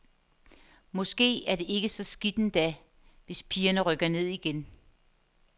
Måske er det ikke så skidt endda, hvis pigerne rykker ned igen.